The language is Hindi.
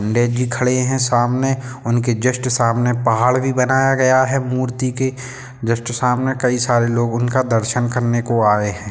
पंडित जी खड़े है सामने उनके जस्ट सामने पहाड़ भी बनाया गया है मूर्ति के जस्ट सामने की सारे लोग उनके दर्शन करने को आए है।